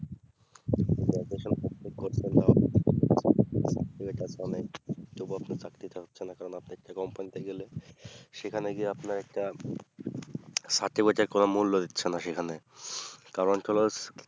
তো বলছেন চাকরিটা হচ্ছে না কারণ আপনি একটা company তে গেলেন সেখানে গিয়ে আপনার একটা certificate এর কম মূল্য দিচ্ছে না সেখানে কারণ তোমার